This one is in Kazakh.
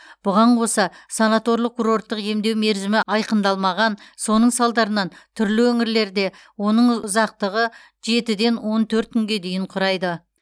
бұған қоса санаторлық курорттық емдеу мерзімі айқындалмаған соның салдарынан түрлі өңірлерде оның ұзақтығы жетіден он төрт күнге дейін құрайды